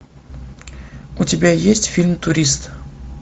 у тебя есть фильм турист